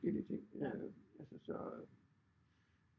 Forskellige ting øh altså så